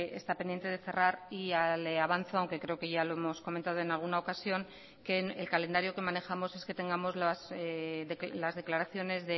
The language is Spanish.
está pendiente de cerrar y le avanzo aunque creo que ya lo hemos comentado en alguna ocasión que en el calendario que manejamos es que tengamos las declaraciones